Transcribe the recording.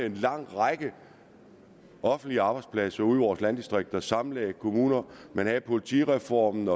en lang række offentlige arbejdspladser ude i vores landdistrikter og sammenlagde kommuner man havde politireformen